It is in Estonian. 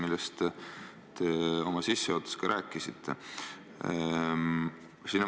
Sellest te rääkisite ka sissejuhatuses.